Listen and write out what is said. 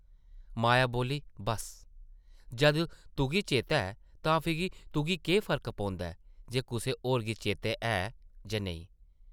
माया बोल्ली, बस्स, जद तुगी चेतै ऐ तां फ्ही तुगी केह् फर्क पौंदा ऐ जे कुसै होर गी चेतै है जां नेईं ।